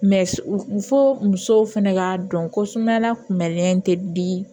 fo musow fɛnɛ ka dɔn ko sumayala kunbɛnnen tɛ bi